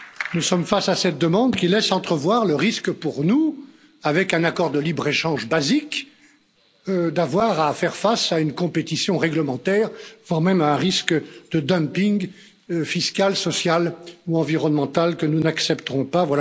Nous sommes face à cette demande, qui laisse entrevoir le risque pour nous, avec un accord de libre échange basique, d'avoir à faire face à une compétition réglementaire, voire même à un risque de dumping fiscal, social ou environnemental, que nous n'accepterons pas.